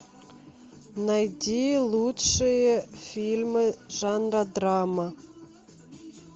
найди лучшие фильмы жанра драма